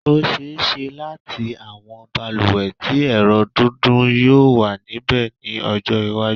Ó ṣe-é-ṣe láti àwọn balùwẹ̀ tí ẹ̀rọ dídún yóò wà níbẹ̀ ní ọjọ́-iwájú.